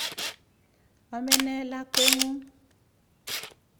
Ame ne lakwet ng'ung'?